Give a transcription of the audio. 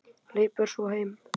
Hleypur svo heim.